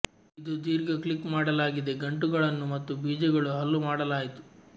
ಇದು ದೀರ್ಘ ಕ್ಲಿಕ್ ಮಾಡಲಾಗಿದೆ ಗಂಟು ಗಳನ್ನೂ ಮತ್ತು ಬೀಜಗಳು ಹಲ್ಲು ಮಾಡಲಾಯಿತು